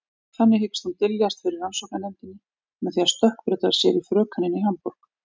Þannig hyggst hún dyljast fyrir rannsóknarnefndinni með því að stökkbreyta sér í frökenina í Hamborg.